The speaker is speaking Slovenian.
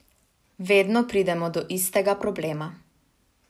Vedno pridemo do istega problema.